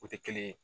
O tɛ kelen ye